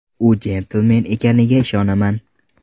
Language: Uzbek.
U jentelmen ekaniga ishonaman.